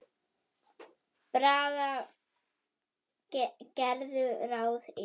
Braga gerðu ráð fyrir.